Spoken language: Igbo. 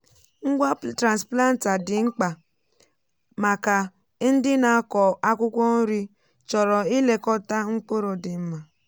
ngwa transplanter dị mkpa maka ndị na-akọ akwụkwọ nri chọrọ nlekọta mkpụrụ dị mma.